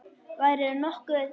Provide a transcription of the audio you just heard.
Værirðu nokkuð.